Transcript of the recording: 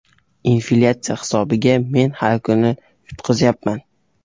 Inflyatsiya hisobiga men har kuni yutqazyapman.